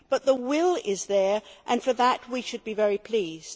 But the will is there and for that we should be very pleased.